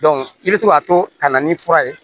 i bɛ to k'a to ka na ni fura ye